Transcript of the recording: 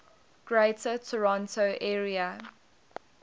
greater toronto area